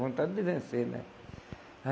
Vontade de vencer, né?